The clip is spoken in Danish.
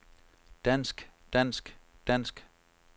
dansk dansk dansk